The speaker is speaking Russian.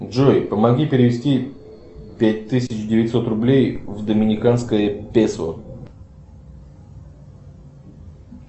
джой помоги перевести пять тысяч девятьсот рублей в доминиканское песо